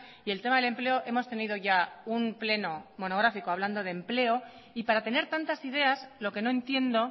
y el tema del empleo hemos tenido ya un pleno monográfico hablando de empleo y para tener tantas ideas lo que no entiendo